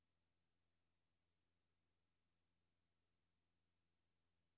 Kun i det lokale findes det stof, hvoraf kunst opstår.